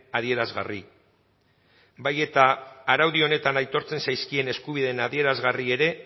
adierazgarri bai eta araudi honetan aitortzen zaizkien eskubideen adierazgarri ere